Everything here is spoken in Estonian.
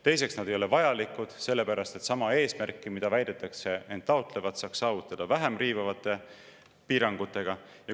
Teiseks, nad ei ole vajalikud, sest sama eesmärki, mida väidetakse end taotlevat, saaks saavutada vähem riivavate piirangutega.